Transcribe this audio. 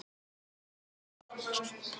Kannski erum við feimnari en þið.